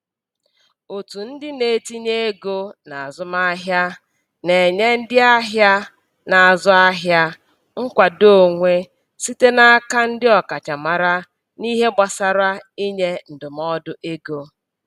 Otu ndị na-etinye ego n'azụmahịa na-enye ndị ahịa na-azụ ahịa nkwado onwe site n'aka ndị ọkachamara n'ihe gbasara inye ndụmọdụ ego.